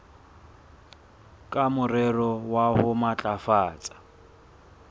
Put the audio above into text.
ka morero wa ho matlafatsa